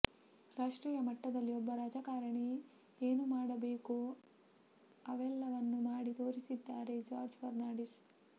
ರಾಷ್ಟ್ರೀಯ ಮಟ್ಟದಲ್ಲಿ ಒಬ್ಬ ರಾಜಕಾರಣಿ ಏನು ಮಾಡಬೇಕೋ ಅವೆಲ್ಲವನ್ನೂ ಮಾಡಿ ತೋರಿಸಿದ್ದಾರೆ ಜಾರ್ಜ್ ಫರ್ನಾಂಡೀಸ್